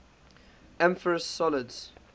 amorphous solids